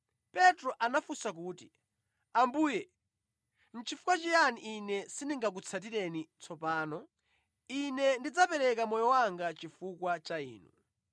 Petro anafunsa kuti, “Ambuye, nʼchifukwa chiyani ine sindingakutsatireni tsopano? Ine ndidzapereka moyo wanga chifukwa cha Inu.”